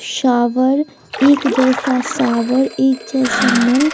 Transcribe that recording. शाबर एक जैसा शाबर एक जैसा नल--